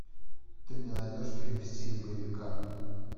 ты мне найдешь фильм в стиле боевика